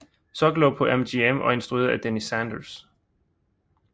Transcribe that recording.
Soklow på MGM og instrueret af Denis Sanders